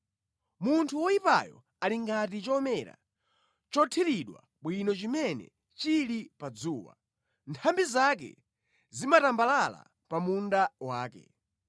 Munthu woyipayo ali ngati chomera chothiriridwa bwino chimene chili pa dzuwa, nthambi zake zimatambalala pa munda wake;